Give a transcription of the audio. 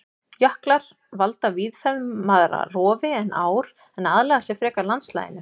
Jöklar valda víðfeðmara rofi en ár en aðlaga sig frekar landslaginu.